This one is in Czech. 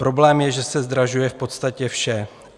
Problém je, že se zdražuje v podstatě vše.